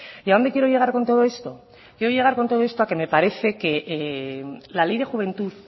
y a dónde quiero llegar con todo esto quiero llegar con todo esto quiero llegar con todo esto a que me parece que la ley de juventud